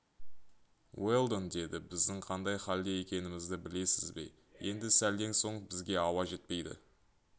уэлдон деді біздің қандай халде екенімізді білесіз бе енді сәлден соң бізге ауа жетпейді